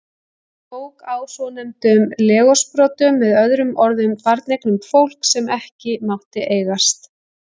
Hann tók á svonefndum legorðsbrotum, með öðrum orðum barneignum fólks sem ekki mátti eigast.